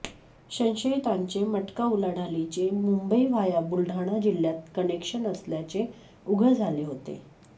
संशयितांचे मटका उलाढालीचे मुंबई व्हाया बुलडाणा जिल्ह्यात कनेक्शन असल्याचे उघड झाले होते